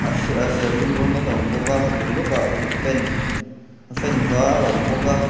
se a serthlum rawngin a awm bawk a a bul lawk ah ve fan fan var a awm bawk a.